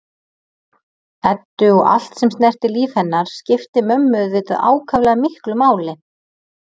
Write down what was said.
Eddu og allt sem snerti líf hennar skipti mömmu auðvitað ákaflega miklu máli.